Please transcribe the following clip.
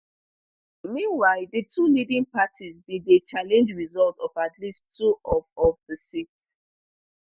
meanwhile di two leading parties bin dey challenge results of at least two of of di seats